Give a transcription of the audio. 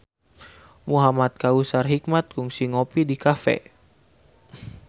Muhamad Kautsar Hikmat kungsi ngopi di cafe